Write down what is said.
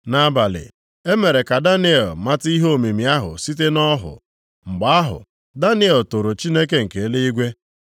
Nʼabalị, e mere ka Daniel mata ihe omimi ahụ site nʼọhụ. Mgbe ahụ, Daniel toro Chineke nke eluigwe,